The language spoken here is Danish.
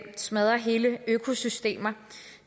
smadrer hele økosystemer